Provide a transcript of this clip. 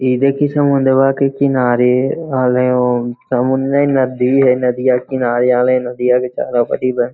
इ देखी समुंदरवा के किनारे हले ओ समुन्द्र नही नदी है नदिया किनारे चारो पटी